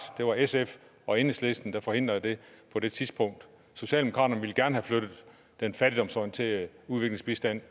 det var sf og enhedslisten der forhindrede det på det tidspunkt socialdemokratiet ville gerne have flyttet den fattigdomsorienterede udviklingsbistand